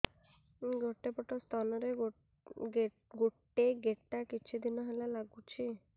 ଗୋଟେ ପଟ ସ୍ତନ ରେ ଗୋଟେ ଗେଟା କିଛି ଦିନ ହେଲା ଲାଗୁଛି